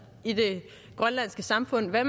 i det grønlandske samfund hvad